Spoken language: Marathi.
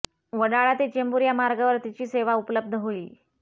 वडाळा ते चेंबूर या मार्गावर तिची सेवा उपलब्ध होईल